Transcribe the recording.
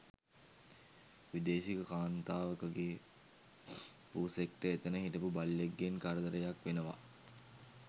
විදේශික කාන්තාවකගෙ පූසෙක්ට එතන හිටපු බල්ලෙක්ගෙන් කරදරයක් වෙනව